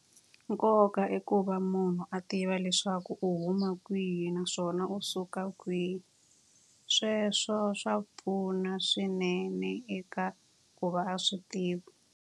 Nkoka i ku va munhu a tiva leswaku u huma kwihi naswona u suka kwihi. Sweswo swa pfuna swinene eka ku va a swi tiva.